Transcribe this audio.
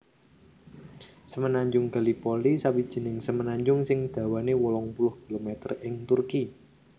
Semenanjung Gallipoli sawijining semenanjung sing dawané wolung puluh kilometer ing Turki